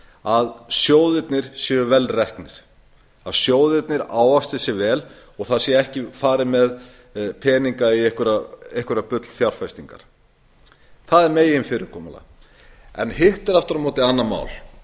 að sjóðirnir séu vel reknir að þeir ávaxti sig vel og það sé ekki farið með peninga í einhverjar bullfjárfestingar það er meginfyrirkomulagið hitt er aftur á móti annað mál að